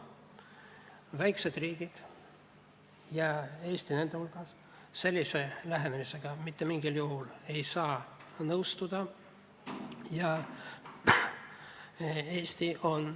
Väikesed riigid, Eesti nende hulgas, sellise lähenemisega mitte mingil juhul nõustuda ei saa.